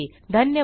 धन्यवाद